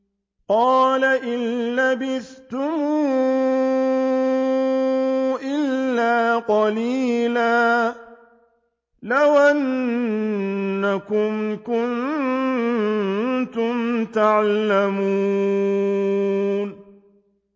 قَالَ إِن لَّبِثْتُمْ إِلَّا قَلِيلًا ۖ لَّوْ أَنَّكُمْ كُنتُمْ تَعْلَمُونَ